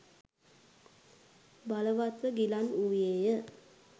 බලවත්ව ගිලන් වූයේය.